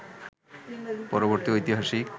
পরবর্তী ঐতিহাসিক